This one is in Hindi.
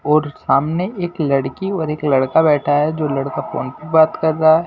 और सामने एक लड़की और एक लड़का बैठा है जो लड़का फोन पे बात कर रहा है।